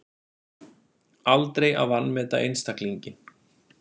Aldrei að vanmeta einstaklinginn